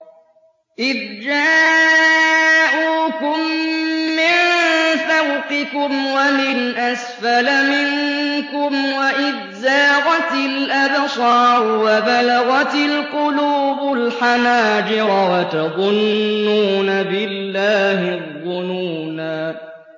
إِذْ جَاءُوكُم مِّن فَوْقِكُمْ وَمِنْ أَسْفَلَ مِنكُمْ وَإِذْ زَاغَتِ الْأَبْصَارُ وَبَلَغَتِ الْقُلُوبُ الْحَنَاجِرَ وَتَظُنُّونَ بِاللَّهِ الظُّنُونَا